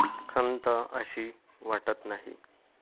खंत अशी वाटत नाही.